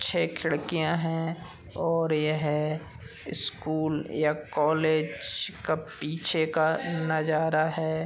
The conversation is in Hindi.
छे खिड़कियां हैं और यह स्कूल या कॉलेज का पीछे का नजारा है।